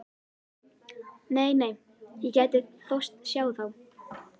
Nei, nei, ég gæti þóst sjá þá.